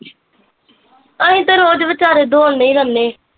ਅਸੀਂ ਤਾਂ ਰੋਜ਼ ਵਿਚਾਰੇ ਦੋੜਨੇ ਈ ਰਹਿੰਦੇ